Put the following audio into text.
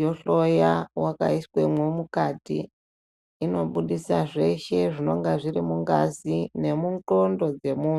yo hloya waka iswemwo mukati ino budisa zveshe zvinonga zviri mungazi nemu ndxondo dze munhu.